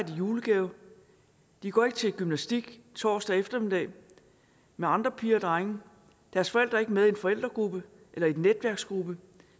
i julegave de går ikke til gymnastik torsdag eftermiddag med andre piger og drenge deres forældre er ikke med i en forældregruppe eller i en netværksgruppe